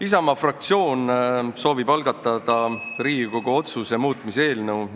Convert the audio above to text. Isamaa fraktsioon soovib algatada Riigikogu otsuse muutmise otsuse eelnõu.